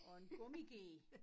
Og en gummiged